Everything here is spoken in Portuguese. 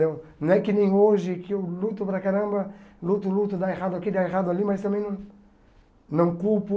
Deu não é que nem hoje que eu luto para caramba, luto, luto, dá errado aqui, dá errado ali, mas também não não culpo.